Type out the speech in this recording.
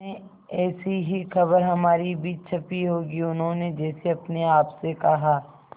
में ऐसी ही खबर हमारी भी छपी होगी उन्होंने जैसे अपने आप से कहा